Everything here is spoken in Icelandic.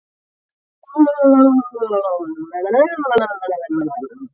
Gætu þeir feðgarnir haft áhrif á dóminn?